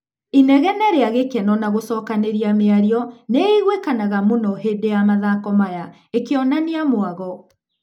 Inegene rĩa gĩkeno na gũcokanĩria mĩario nĩĩguikanaga mũno hĩndĩ ya mathako maya, ĩkĩonania mwago.